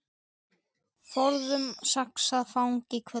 Forðum saxað fang í hvelli.